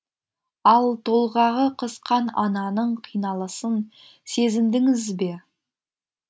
ал толғағы қысқан ананың қиналысын сезіндіңіз бе